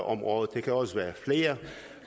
om året det kan også være flere